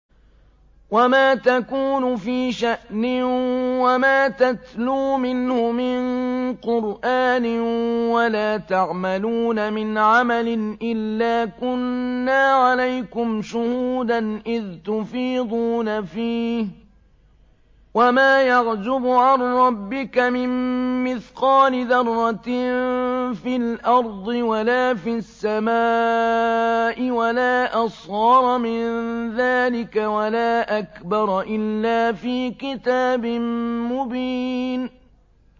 وَمَا تَكُونُ فِي شَأْنٍ وَمَا تَتْلُو مِنْهُ مِن قُرْآنٍ وَلَا تَعْمَلُونَ مِنْ عَمَلٍ إِلَّا كُنَّا عَلَيْكُمْ شُهُودًا إِذْ تُفِيضُونَ فِيهِ ۚ وَمَا يَعْزُبُ عَن رَّبِّكَ مِن مِّثْقَالِ ذَرَّةٍ فِي الْأَرْضِ وَلَا فِي السَّمَاءِ وَلَا أَصْغَرَ مِن ذَٰلِكَ وَلَا أَكْبَرَ إِلَّا فِي كِتَابٍ مُّبِينٍ